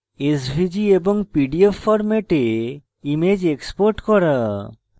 svg এবং pdf ফরম্যাটে image export করা